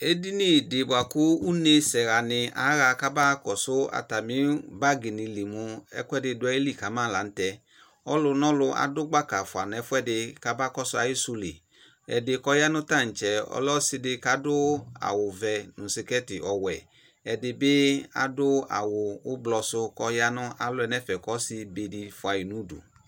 edini dɩ bʋakʋ unesɛ ɣanɩ aɣa kaba kɔsʋ atamɩ bagi nɩlɩ mʋ ɛkʋedɩ dʋ ayɩlɩ kama kanʋ tɛ ɔlʋnʋɔlʋ akpɔ gbaka kama kɔsʋ ayɩ sʋ lɩ ɛdɩ kʋ ɔyanʋ tatsɛ ɔlɛ ɔsɩ kʋ adʋ awʋvɛ nʋ sɩkɛtɩ ɔwɛ ɛdɩbɩ adʋ awʋ ʋblɔsʋ kʋ aya nʋ alɔ yɛ nʋ ɛfɛ kʋ ɔsɩ dɩbɩ fuayi nʋ udu